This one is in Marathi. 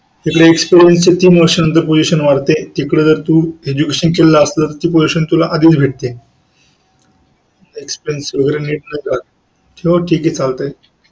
इकडे Experience च्या तीन वर्षानंतर position वाढते तिकडे जर तू Education केलं तर तुला आधीच भेटते.